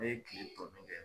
Ne ye kiletɔ bɛɛ kɛ